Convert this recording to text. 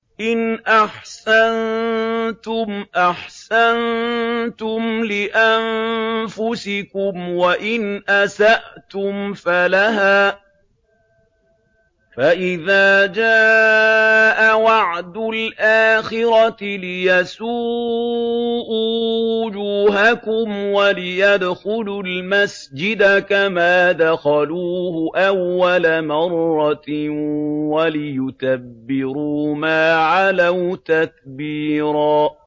إِنْ أَحْسَنتُمْ أَحْسَنتُمْ لِأَنفُسِكُمْ ۖ وَإِنْ أَسَأْتُمْ فَلَهَا ۚ فَإِذَا جَاءَ وَعْدُ الْآخِرَةِ لِيَسُوءُوا وُجُوهَكُمْ وَلِيَدْخُلُوا الْمَسْجِدَ كَمَا دَخَلُوهُ أَوَّلَ مَرَّةٍ وَلِيُتَبِّرُوا مَا عَلَوْا تَتْبِيرًا